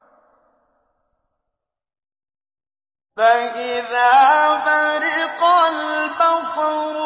فَإِذَا بَرِقَ الْبَصَرُ